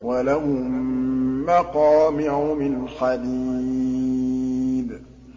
وَلَهُم مَّقَامِعُ مِنْ حَدِيدٍ